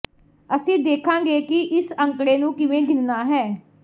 ਅਸੀਂ ਦੇਖਾਂਗੇ ਕਿ ਇਸ ਅੰਕੜੇ ਨੂੰ ਕਿਵੇਂ ਗਿਣਣਾ ਹੈ